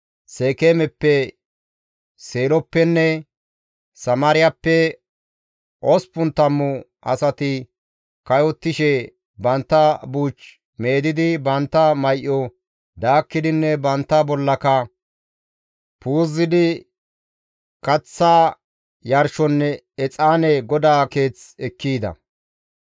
Seekeemeppe, Seeloppenne Samaariyappe osppun tammu asati kayottishe, bantta buuch meedidi, bantta may7o daakkidinne bantta bollaka puuzidi kaththa yarshonne exaane GODAA Keeth ekki yida.